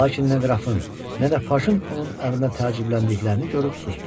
Lakin nə qrafın, nə də Pajın onun əmrinə təəccübləndiklərini görüb sustu.